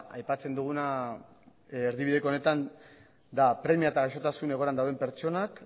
aipatzen duguna erdibideko honetan da premia eta gaixotasun egoeran dauden pertsonak